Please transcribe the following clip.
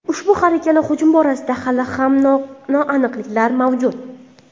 Ushbu har ikkala hujum borasida hali ham noaniqliklar mavjud.